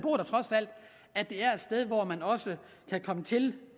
at det er et sted hvor man også kan komme til